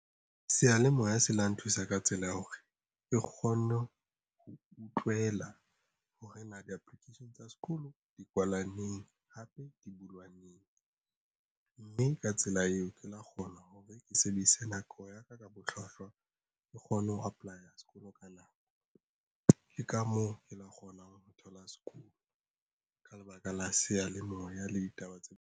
Seyalemoya se la nthusa ka tsela ya hore ke kgone ho utlwela hore na di-application tsa sekolo di kwala neng hape di bulwa neng mme ka tsela eo ke la kgona hore ke sebedise nako ya ka ka bohlwahlwa ke kgone ho apply-a sekolo ka nako. Ke ka moo e tla kgonang ho thola sekolo ka lebaka la seyalemoya le ditaba tse.